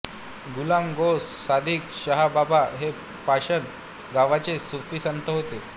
गुलाम गौस सादिक शाह बाबा हे पाषाण गावचे सूफी संत होते